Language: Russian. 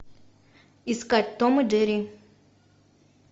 искать том и джерри